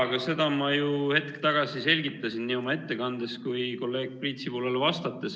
Aga seda ma ju hetk tagasi selgitasin nii oma ettekandes kui ka kolleeg Priit Sibulale vastates.